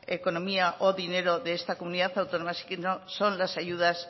economía o dinero de esta comunidad autónoma sino que son las ayudas